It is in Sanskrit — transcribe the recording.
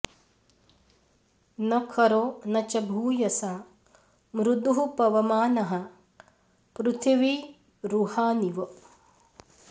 न खरो न च भूयसा मृदुः पवमानः पृथिवीरुहानिव